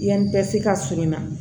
Yanni bɛ se ka surunya